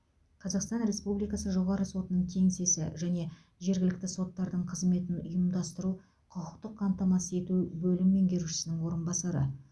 қазақстан республикасы жоғарғы сотының кеңсесі және жергілікті соттардың қызметін ұйымдастыру құқықтық қамтамасыз ету бөлімі меңгерушісінің орынбасары